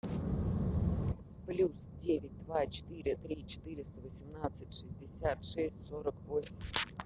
плюс девять два четыре три четыреста восемнадцать шестьдесят шесть сорок восемь